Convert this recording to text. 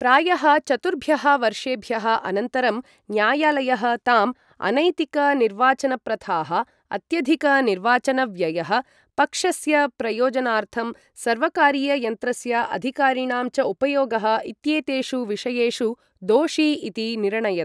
प्रायः चतुर्भ्यः वर्षेभ्यः अनन्तरं न्यायालयः ताम्, अनैतिक निर्वाचनप्रथाः, अत्यधिक निर्वाचनव्ययः, पक्षस्य प्रयोजनार्थं सर्वकारीययन्त्रस्य अधिकारिणां च उपयोगः इत्येतेषु विषयेषु दोषी इति निरणयत्।